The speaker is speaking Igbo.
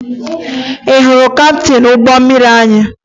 Ị hụrụ kaptịn ụgbọ mmiri anyị?